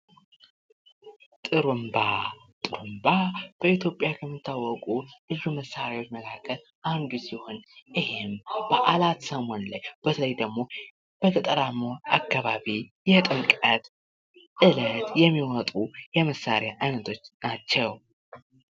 ጥሩምባ ፡-ከልዩ ልዩ መሳሪያዎች መካከል አንዱ ሲሆን በተለያዩ በአላት በተለይ በገጠር አካባቢ የምንጠቀማቸው ናቸው።